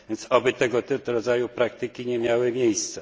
Oby tego rodzaju praktyki nie miały miejsca.